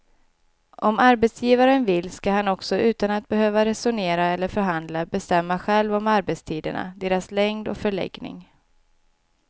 Om arbetsgivaren vill ska han också utan att behöva resonera eller förhandla bestämma själv om arbetstiderna, deras längd och förläggning.